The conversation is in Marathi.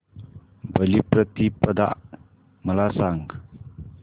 बलिप्रतिपदा मला सांग